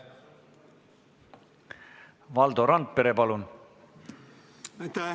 Valdo Randpere, palun!